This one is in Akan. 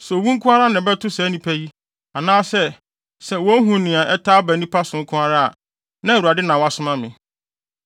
Sɛ owu nko ara na ɛbɛto saa nnipa yi, anaa sɛ wohu nea ɛtaa ba nnipa so nko ara a, na ɛnyɛ Awurade na wasoma me.